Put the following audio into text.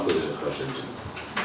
Xahiş edirəm, xahiş edirəm.